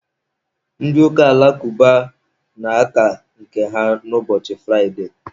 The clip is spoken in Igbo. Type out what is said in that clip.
Ndị ụka alakụba na-aka nke ha ụbọchị Fraide.